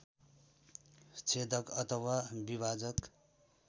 छेदक अथवा विभाजक